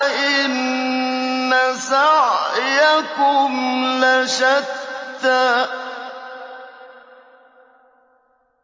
إِنَّ سَعْيَكُمْ لَشَتَّىٰ